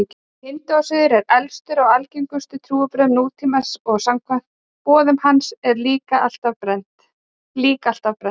Hindúasiður er elstur af algengustu trúarbrögðum nútímans og samkvæmt boðum hans eru lík alltaf brennd.